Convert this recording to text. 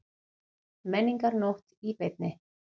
Menningarnótt í beinni